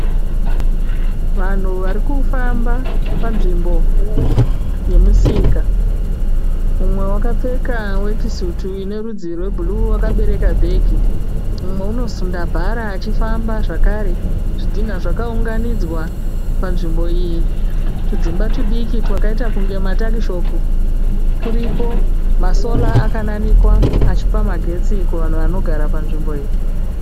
Vanhu varikufamba panzvimbo yemusika, mumwe wakapfeka wekisutu inerudzi rwebhuru wakabereka bhegi mumwe unosunda bhara achifamba zvakare zvidhinha zvakaunganidzwa panzvimbo iyi tudzimba tudiki twakaita kunge matakishopu turipo masora akananikwa achipa magetsi kuvanhu vanogara panzvimbo iyi.